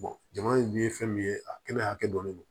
jama in ye fɛn min ye a kɛnɛ hakɛ dɔn de don